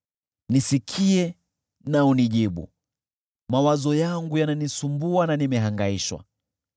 Nisikie na unijibu. Mawazo yangu yananisumbua na nimehangaishwa